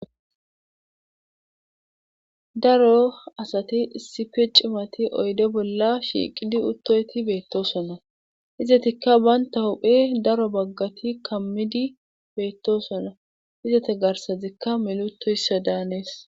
Daro asati issippe ciimmati oyde bolla shiiqidi uttoyti beettosona izatikka banta huphphe daro baggati kammiidi beettosona izetta garsazikka milli uitoyssa da hanees